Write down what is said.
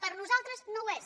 per nosaltres no ho és